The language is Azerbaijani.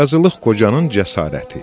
Qazılıq Qocanın cəsarəti.